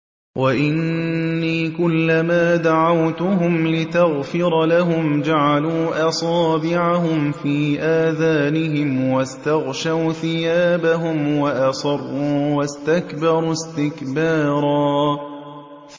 وَإِنِّي كُلَّمَا دَعَوْتُهُمْ لِتَغْفِرَ لَهُمْ جَعَلُوا أَصَابِعَهُمْ فِي آذَانِهِمْ وَاسْتَغْشَوْا ثِيَابَهُمْ وَأَصَرُّوا وَاسْتَكْبَرُوا اسْتِكْبَارًا